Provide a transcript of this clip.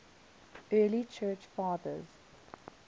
early church fathers